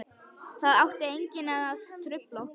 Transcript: Það átti enginn að trufla okkur.